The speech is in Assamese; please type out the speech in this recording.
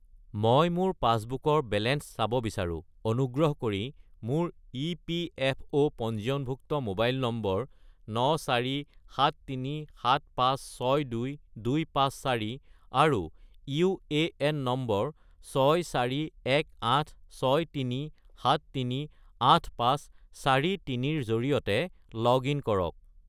মই মোৰ পাছবুকৰ বেলেঞ্চ চাব বিচাৰোঁ, অনুগ্ৰহ কৰি মোৰ ইপিএফঅ’ পঞ্জীয়নভুক্ত মোবাইল নম্বৰ 94737562254 আৰু ইউএএন নম্বৰ 641863738543 -ৰ জৰিয়তে লগ-ইন কৰক